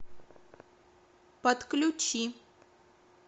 подключи